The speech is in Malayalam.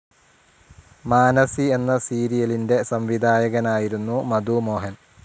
മാനസി എന്ന സീരിയലിന്റെ സംവിധായകനായിരുന്നു മധു മോഹൻ.